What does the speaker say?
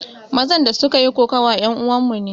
Mazan da suka yi kokawa yan uwan mu ne